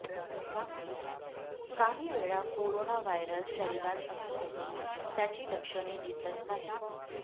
काही वेळा corona virus शरीरात असूनही त्याची लक्षणे दिसत नाहीत